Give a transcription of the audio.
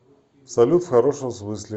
салют в хорошем смысле